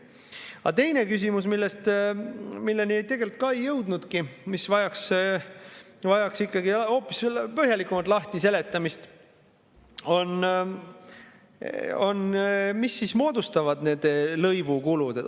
Aga teine küsimus, milleni me tegelikult ei jõudnudki, aga mis vajaks hoopis põhjalikumalt lahtiseletamist, on see, mis siis moodustavad need lõivu kulud.